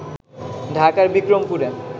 ঢাকার বিক্রমপুরে